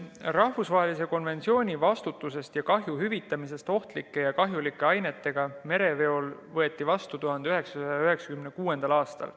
Rahvusvaheline konventsioon vastutusest ja kahju hüvitamisest ohtlike ja kahjulike ainete mereveol võeti vastu 1996. aastal.